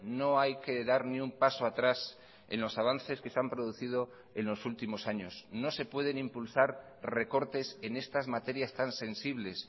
no hay que dar ni un paso atrás en los avances que se han producido en los últimos años no se pueden impulsar recortes en estas materias tan sensibles